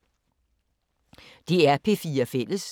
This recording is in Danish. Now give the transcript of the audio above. DR P4 Fælles